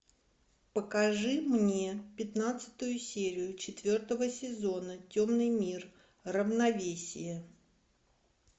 покажи мне пятнадцатую серию четвертого сезона темный мир равновесие